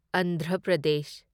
Andhra Pradesh